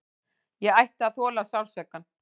Ég ætti að þola sársaukann.